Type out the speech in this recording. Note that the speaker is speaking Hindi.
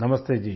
नमस्ते जी